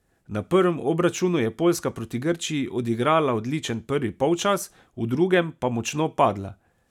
Na prvem obračunu je Poljska proti Grčiji odigrala odličen prvi polčas, v drugem pa močno padla.